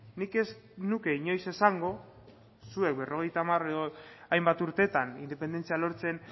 nik ez nuke inoiz esango zuek berrogeita hamar edo hainbat urtetan independentzia lortzen